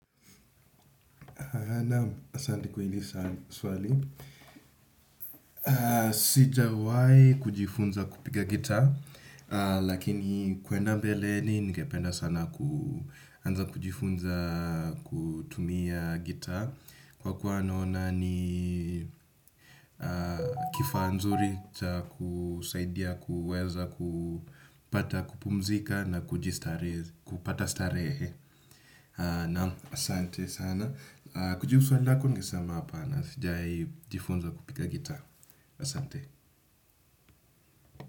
Naam, asante kwa hili swali. Sijawahi kujifunza kupika gitaa, lakini kwenda mbeleni ningependa sana kuanza kujifunza kutumia gitaa. Kwa kuwa nona ni kifaa nzuri, cha kusaidia kuweza kupata kupumzika na kupata starehe. Naam, asante sana. Kujibu swali lako ningesama hapana, sijawahi jifunza kupiga gitaa. Asante.